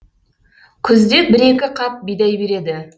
күзде бір екі қап бидай береді